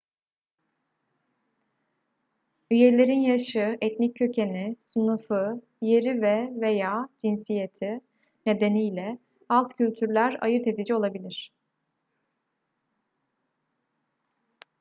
üyelerin yaşı etnik kökeni sınıfı yeri ve/veya cinsiyeti nedeniyle alt kültürler ayırt edici olabilir